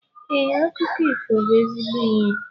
Ee, akụkọ ifo bu ezigbo ihe